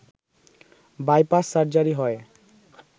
bypass surgery হয়